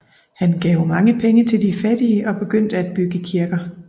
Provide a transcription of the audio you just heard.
Han gav mange penge til de fattige og begyndte at bygge kirker